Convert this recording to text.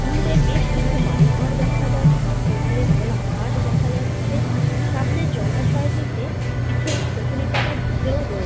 দূরে বেশ কিছু বাড়ি ঘর দেখা যাচ্ছে। ওপরে খোলা আকাশ দেখা যাচ্ছে। সামনে জলাশয়টিতে কিছু কচুরিপনা ভেসেও রয়েছে।